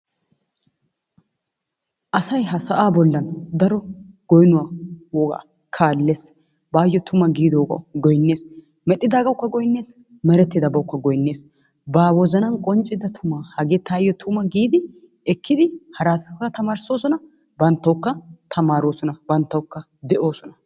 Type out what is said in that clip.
Asay ha sa'aa bollan daro goynnuwa wogaa kaalees, baayoo tumma giidoogaa goynnees, medhidaagawukka goynnes, meretaagawukka goynnees, ba wozzanan qonccida tumaa hagee taayo tumma giidi ekkidi haraataklka tamaarissosona, bantawukka tamaaroosona, bantawukka de'oosona,